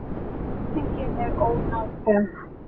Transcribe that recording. Skiptingin er ónákvæm.